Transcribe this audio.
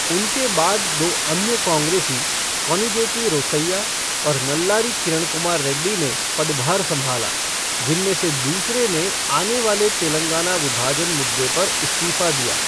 उनके बाद दो अन्य कांग्रेसी, कोनिजेती रोसैया और नल्लारी किरण कुमार रेड्डी ने पदभार संभाला, जिनमें से दूसरे ने आने वाले तेलंगाना विभाजन मुद्दे पर इस्तीफ़ा दिया।